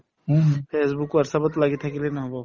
facebook whatsapp ত লাগি থাকিলে নহব